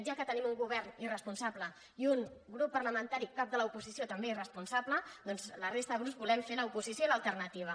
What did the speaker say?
ja que tenim un govern irresponsable i un grup parlamentari cap de l’oposició també irresponsable doncs la resta de grups volem fer l’oposició i l’alternativa